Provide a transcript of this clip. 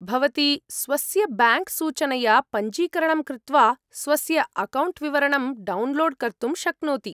भवती स्वस्य ब्याङ्क्सूचनया पञ्जीकरणं कृत्वा स्वस्य अकौण्ट् विवरणं डौन्लोड् कर्तुं शक्नोति।